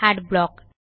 adblock